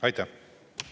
Aitäh!